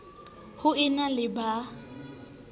ho e na le ba